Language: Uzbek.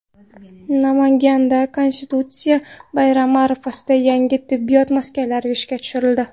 Namanganda Konstitutsiya bayrami arafasida yangi tibbiyot maskanlari ishga tushirildi.